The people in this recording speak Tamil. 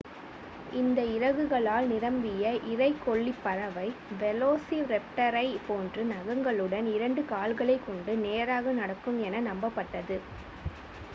இந்த இறகுகளால் நிரம்பிய இரைக்கொல்லிப் பறவை வெலோசிரேப்டரைப் போன்று நகங்களுடன் இரண்டு கால்களைக் கொண்டு நேராக நடக்கும் என நம்பப்பட்டது